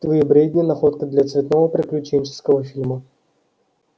твои бредни находка для цветного приключенческого фильма